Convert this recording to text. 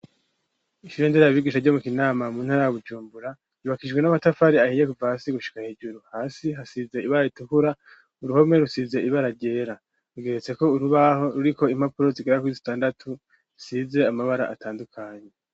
Ishurendera abigisha ryo mu kinama muntara gujumbura yubakijwe n'amatafari ahiye kuvaasi gushika hejuru hasi hasize ibara itukura uruhome rusize ibararyera ugiretse ko urubaho ruri ko impapuro zigerako isitandatu rsize amabara atandukanye.